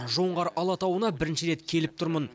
жоңғар алатауына бірінші рет келіп тұрмын